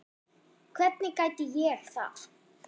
Hvernig gæti ég það?